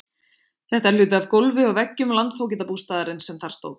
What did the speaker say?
Þetta er hluti af gólfi og veggjum landfógetabústaðarins sem þar stóð.